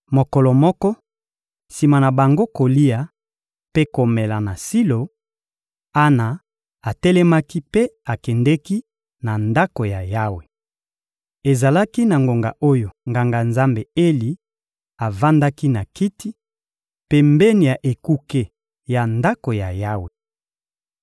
Mokolo moko, sima na bango kolia mpe komela na Silo, Ana atelemaki mpe akendeki na Ndako ya Yawe. Ezalaki na ngonga oyo Nganga-Nzambe Eli avandaki na kiti, pembeni ya ekuke ya Ndako ya Yawe.